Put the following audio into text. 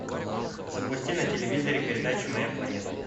запусти на телевизоре передачу моя планета